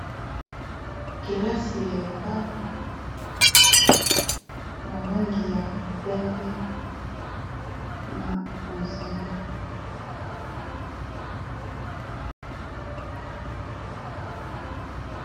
Kelasi ya étage ya langi ya pembe na bozinga.